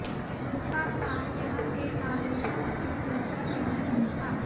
उसका काम यहां के नागरिकों की सुरक्षा करना नहीं था